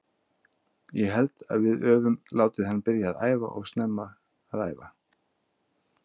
Ég held að við öfum látið hann byrja að æfa of snemma að æfa.